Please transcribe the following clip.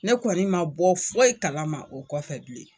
Ne kɔni man bɔ foyi kalama o kɔfɛ bilen.